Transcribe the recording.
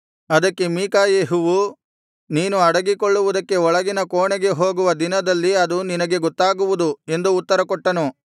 ಅದಕ್ಕೆ ಮೀಕಾಯೆಹುವು ನೀನು ಅಡಗಿಕೊಳ್ಳುವುದಕ್ಕೆ ಒಳಗಿನ ಕೋಣೆಗೆ ಹೋಗುವ ದಿನದಲ್ಲಿ ಅದು ನಿನಗೆ ಗೊತ್ತಾಗುವುದು ಎಂದು ಉತ್ತರ ಕೊಟ್ಟನು